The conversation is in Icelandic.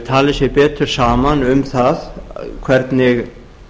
tali sig betur saman um það hvernig